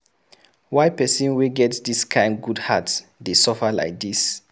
Why pesin wey get dis kain good heart dey suffer lai dis?